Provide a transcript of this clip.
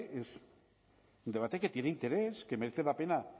es un debate que tiene interés que merece la pena